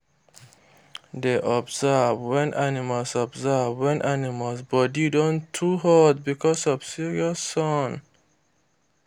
dey observe wen animals observe wen animals body don too hot because of serious sun